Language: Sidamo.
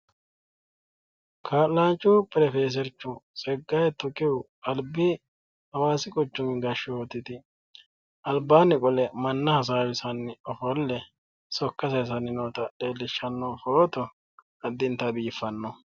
Kaa'laanchu pirofeesercho tseggaye tukehu albbi hawaasi quchumi gashshootiti albaanni qole manna hasaawisanni ofolle sokka sayiisanni noota leellishshanno footo addintayi biiffanno